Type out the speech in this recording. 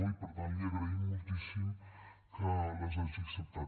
i per tant li agraïm moltíssim que les hagi acceptat